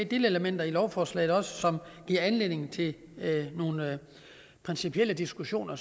delelementer i lovforslaget som giver anledning til nogle principielle diskussioner